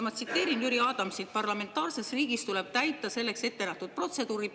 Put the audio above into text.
Ma tsiteerin Jüri Adamsit: "Parlamentaarses riigis tuleb täita selleks ettenähtud protseduuri.